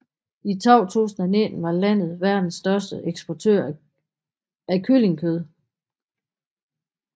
I 2019 var landet verdens største eksportør af kyllingekød